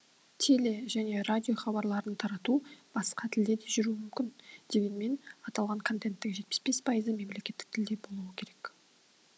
теле және радио хабарларын тарату басқа тілде де жүруі мүмкін дегенмен аталған контенттің жетпіс бес пайызы мемлекеттік тілде болуы керек